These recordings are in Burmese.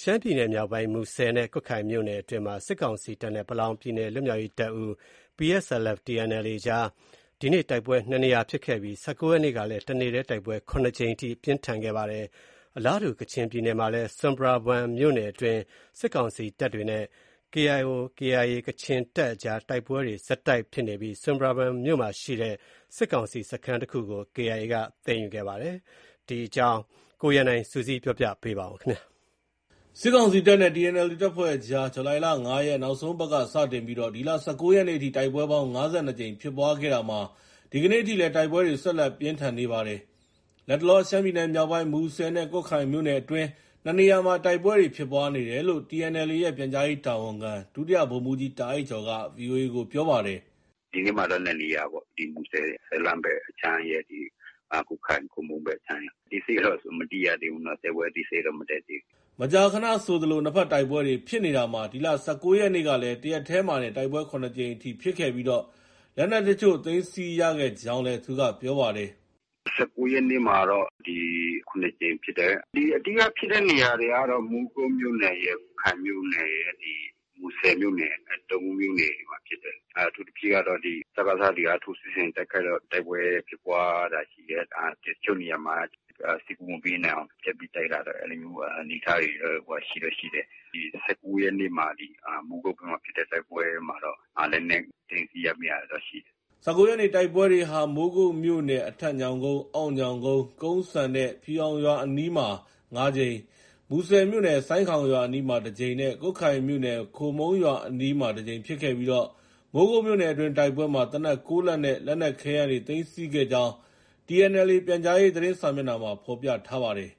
ရှမ်းပြည်နယ်မြောက်ပိုင်း မူဆယ်နဲ့ ကွတ်ခိုင်မြို့နယ်အတွင်းမှာ စစ်ကောင်စီတပ်နဲ့ ပလောင်ပြည်နယ် လွတ်မြောက်ရေးတပ်ဦး PSLF/TNLA အကြား ဒီကနေ့ တိုက်ပွဲ ၂ နေရာ ဖြစ်ခဲ့ပြီး ၁၉ ရက်နေ့ကလည်း တနေ့တည်း တိုက်ပွဲ ၇ ကြိမ်အထိ ပြင်းထန်ခဲ့ပါတယ်။ အလားတူ ကချင်ပြည်နယ်မှာလည်း ဆွမ်ပရာဘွမ်မြို့နယ်အတွင်း စစ်ကောင်စီတပ်တွေ နဲ့ ကချင်လွတ်လပ်ရေးအဖွဲ့ KIO/KIA အကြား တိုက်ပွဲတွေ ဆက်တိုက် ဖြစ်နေပြီး ဆွမ်ပရာဘွမ်မြို့နယ်မှာရှိတဲ့ စစ်ကောင်စီတပ်စခန်းတခုကို KIA က သိမ်းယူခဲ့ပါတယ်။ ကချင်ပြည်နယ်နဲ့ ရှမ်းပြည်မြောက်ပိုင်းက စစ်ရေး အခြေအနေတွေကို ကိုရန်နိုင် က စုစည်း တင်ပြထားပါတယ်။ စစ်ကောင်စီတပ်နဲ့ TNLA တပ်ဖွဲ့ အကြား ဇူလိုင်လ နောက်ဆုံးအပတ်က စတင်ပြီး ဒီလ ၁၉ ရက်အထိ တိုက်ပွဲပေါင်း ၅၂ ကြိမ် ဖြစ်ပွားခဲ့ရာမှာ ဒီကနေ့ အထိလည်း တိုက်ပွဲတွေ ဆက်လက် ပြင်းထန်နေပါတယ်။ လတ်တလော ရှမ်းပြည်နယ် မြောက်ပိုင်း မူဆယ်နဲ့ ကွတ်ခိုင်မြို့နယ်အတွင်း ၂ နေရာမှာ တိုက်ပွဲဖြစ်ပွားနေတယ်လို့ TNLA ရဲ့ ပြန်ကြားရေး တာဝန်ခံ ဒုဗိုလ်မှူးကြီး တာ့အိုက်ကျော်က VOA ကို ပြောပါတယ်။ “ ဒီနေ့မှာတော့ နှစ်နေရာပေါ့။ မူဆယ် ဆယ်လန့်ဘက် အခြမ်းရယ်၊ ကွတ်ခိုင် ခိုမုန်းဘက် အခြမ်းရယ်။ ဘက်မှာဖြစ်တယ်လို့ သိရတယ်။ ” မကြာခဏဆိုသလို နှစ်ဘက်တိုက်ပွဲတွေ ဖြစ်နေတာမှာ ဒီလ ၁၉ ရက်နေ့ကလည်း တရက်တည်းမှာတင် တိုက်ပွဲ ၇ ကြိမ်အထိ ဖြစ်ခဲ့ပြီး လက်နက်အချို့ သိမ်းဆည်းရခဲ့ကြောင်းလည်း သူက ပြောပါတယ်။ “ ၁၉ ရက်နေ့မှာတော့ ၇ကြိမ်ဖြစ်တယ်။ အဓိက ဖြစ်တဲ့နေရာတွေကတော့ မိုးကုတ်မြို့နယ်ရယ်၊ ကွတ်ခိုင်မြို့နယ်ရယ်၊ မူဆယ်မြို့နယ်ရယ် ဒီ ၃ မြို့နယ်မှာဖြစ်တယ်။ အထူးသဖြင့်ကတော့ စကစတွေက ထိုးစစ်ဆင်တိုက်ခိုက်လို့ တိုက်ပွဲဖြစ်ပွားတာရှိတယ်။ တချို့နေရာမှာက စစ်ကူ မပေးနိုင်အောင် ဖြတ်ပြီးတော့ တိုက်တာတို့။ အဲလိုမျိုး အနေအထားတွေတော့ ရှိတော့ ရှိတယ်။ ၁၉ရက်နေ့မှာ မိုးကုတ်ဘက်မှာဖြစ်တဲ့ တိုက်ပွဲမှာတော့ လက်နက် သိမ်းဆည်းရမိတာတွေတော့ ရှိတယ်။” ၁၉ ရက်နေ့ တိုက်ပွဲတွေဟာ မိုးကုတ်မြို့နယ် အထက်ညောင်ကုန်း၊ အောက်ညောင်ကုန်း၊ ကုန်းစံနဲ့ ဖြူရောင်ရွာအနီးမှာ ၅ ကြိမ်၊ မူဆယ်မြို့နယ် ဆိုင်ခေါင်ရွာအနီး တကြိမ်နဲ့ ကွတ်ခိုင်မြို့နယ် ခိုမုန်းရွာအနီး တကြိမ်ဖြစ်ခဲ့ပြီး မိုးကုတ်မြို့နယ်အတွင်းတိုက်ပွဲမှာ သေနတ် ၉ လက်နဲ့ လက်နက်ခဲယမ်းတွေ သိမ်းဆည်းခဲ့ကြောင်း TNLA ပြန်ကြားရေး သတင်းစာမျက်နှာမှာ ဖော်ပြပါတယ်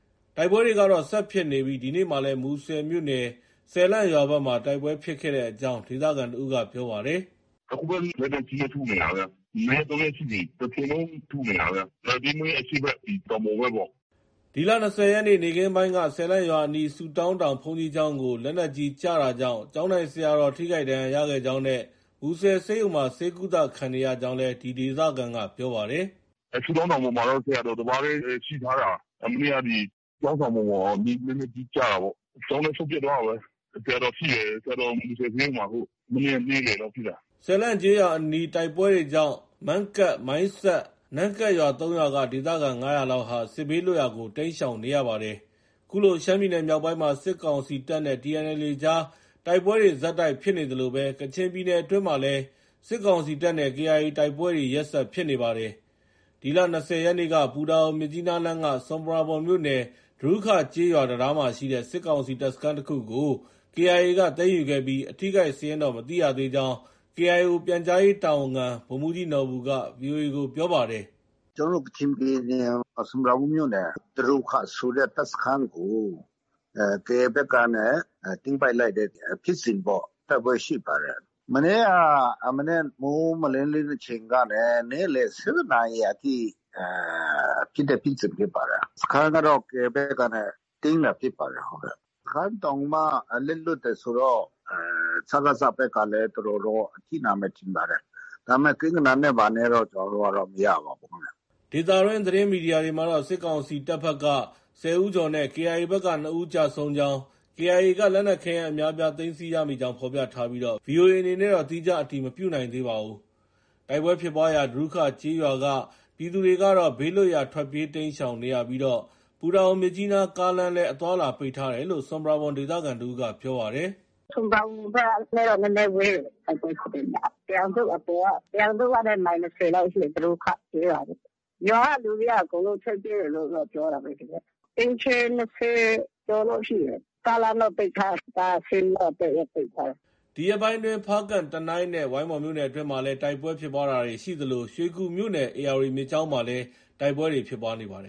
။ တိုက်ပွဲတွေကတော့ ဆက်ဖြစ်နေပြီး ဒီနေ့မှာလည်း မူဆယ်မြို့နယ် ဆယ်လန့်ရွာဘက်မှာ တိုက်ပွဲဖြစ်ခဲ့တဲ့အကြောင်း ဒေသခံတဦးက ပြောပါတယ်။ “အခုပဲ လက်နက်ကြီးနဲ့ ထုနေတာပဲ။ ၂ ရက်၊ ၃ ရက်ရှိပြီ တချိန်လုံး ထုနေတာပဲ။ လွိုင်တေးမိန်း အရှေ့ဘက် တောင်ပေါ်ဘက်ပေါ့။” ဒီလ ၂၀ ရက်နေ့ နေ့ခင်းပိုင်းက ဆယ်လန့်ရွာအနီး ဆုတောင်းတောင် ဘုန်းကြီးကျောင်းကို လက်နက်ကြီး ကျတာကြောင့် ကျောင်းထိုင်ဆရာတော် ထိခိုက် ဒဏ်ရာရခဲ့ကြောင်းနဲ့ မူဆယ်ဆေးရုံမှာ ဆေးကုသခံနေရကြောင်းလည်း ဒီ ဒေသခံက ပြောပြပါတယ်။ “ဆုတောင်းတောင်ပေါ်မှာတော့ ဆရာတော် တပါးတည်းရှိထားတာ။ မနေ့က ဒီ ကျောင်းဆောင်ပေါ်ကို လက်နက်ကြီး ကျတာပေါ့။ ကျောင်းလည်း စုတ်ပြတ်သွားတာပဲ။ ဆရာတော် ထိတယ်။ ဆရာတော် မူဆယ်ဆေးရုံမှာ အခု။ မနေ့က နေ့လည်လောက်ဖြစ်တာ။” ဆယ်လန့် ကျေးရွာအနီး တိုက်ပွဲတွေကြောင့် မန့်ကတ်၊ မိုင်းဆတ်၊ နမ့်ကတ်ရွာ ၃ ရွာက ဒေသခံ ၅၀၀လောက်ဟာ စစ်ဘေးလွတ်ရာကို တိမ်းရှောင်နေရပါတယ်။ ခုလို ရှမ်းပြည်နယ်မြောက်ပိုင်းမှာ စစ်ကောင်စီတပ်နဲ့ TNLA အကြား တိုက်ပွဲတွေ ဆက်တိုက် ဖြစ်နေသလိုပဲ ကချင်ပြည်နယ်အတွင်းမှာလည်း စစ်ကောင်စီတပ်နဲ့ KIA တိုက်ပွဲတွေ ရက်ဆက် ဖြစ်နေပါတယ်။ ဒီလ ၂၀ ရက်နေ့က ပူတာအို -မြစ်ကြီးနားလမ်းက ဆွမ်ပရာဘွမ်မြို့နယ်၊ ဒရူးခကျေးရွာ တံတားမှာရှိတဲ့ စစ်ကောင်စီ တပ်စခန်းတခုကို KIA က သိမ်းယူခဲ့ပြီး အထိအခိုက် စာရင်းတော့ မသိရသေးကြောင်း KIO ပြန်ကြားရေး တာဝန်ခံ ဗိုလ်မှုးကြီးနော်ဘူက ဗွီအိုအေကို ပြောပါတယ်။ “ကျနော်တို့ ကချင်ပြည်နယ် ဆွမ်ပရာဘွမ်မြို့နယ် ဒရူခ ဆိုတဲ့ တပ်စခန်းကို KIA ဘက်က သိမ်းပိုက်လိုက်တဲ့ဖြစ်စဉ်ပေါ့။ တိုက်ပွဲရှိပါတယ်။ မနေ့က မနက် မိုးမလင်းတလင်း အချိန်ကနေ နေ့လည် ၁၂ နာရီအထိ ဖြစ်တဲ့ ဖြစ်စဉ်ဖြစ်ပါတယ်။ စခန်းကတော့ KIA ဘက်ကနေ သိမ်းတာ ဖြစ်ပါတယ်။ စခန်းတောင်မှ လက်လွှတ်တယ်ဆိုတော့ စကစ ဘက်ကလည်း အတော်တော့ အထိနာမယ် ထင်ပါတယ်။ ဒါပေမဲ့ ကိန်းဂဏန်းနဲ့ ဘာနဲ့တော့ မရပါဘူး။” ဒေသတွင်းသတင်းမီဒီယာတွေမှာတော့ စစ်ကောင်စီတပ်က ၁၀ ဦးကျော်နဲ့ KIA ဘက်က ၂ ဦး ကျဆုံးကြောင်း၊ KIA က လက်နက်ခဲယမ်း အများအပြား သိမ်းဆည်းရမိကြောင်း ဖော်ပြထားပြီး VOA အနေနဲ့တော့ သီးခြားအတည် မပြုနိုင်သေးပါဘူး။ တိုက်ပွဲ ဖြစ်ပွားရာ ဒရူခ ကျေးရွာက ပြည်သူတွေကတော့ ဘေးလွတ်ရာ ထွက်ပြေး တိမ်းရှောင်နေကြရပြီး ပူတာအို- မြစ်ကြီးနား ကားလမ်းလည်း အသွားအလာ ပိတ်ထားတယ်လို့ ဆွမ်ပရာဘွမ် ဒေသခံတဦးက ပြောပါတယ်။ “ဆွမ်ပရာဘွမ် မြို့ပေါ်ကနဲ့တော့ နည်းနည်းဝေးတယ်။ တိုက်ပွဲဖြစ်တဲ့နေရာက၊ တရမ်ဇွပ်အပေါ်က။ တရမ်ဇွပ်ကနေ မိုင် ၂၀ လောက်ရှိတယ်။ ဒရူခ ကျေးရွာပေ့ါ။ ရွာက လူတွေက အကုန်လုံးထွက်ပြေးတယ်လို့တော့ ပြောတာပဲလေ။ အိမ်ခြေ ၂၀ ကျော်လောက် ရှိတယ်။ ကားလမ်းတော့ ပိတ်ထားတယ်။ ကား အဆင်းရော အတက်ရော ပိတ်ထားတယ်။” ဒီရက်ပိုင်းအတွင်း ဖားကန့်၊ တနိုင်းနဲ့ ဝိုင်းမော်မြို့နယ်အတွင်းမှာလည်း တိုက်ပွဲ ဖြစ်ပွားတာတွေ ရှိသလို ရွှေကူမြို့နယ် ဧရာဝတီမြစ်ကြောင်း မှာလည်း တိုက်ပွဲတွေ ဖြစ်ပွားနေပါတယ်